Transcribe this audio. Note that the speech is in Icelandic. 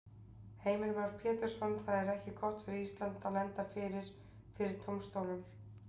Heimir Már Pétursson: Það er ekki gott fyrir Ísland að lenda fyrir, fyrir dómstólnum?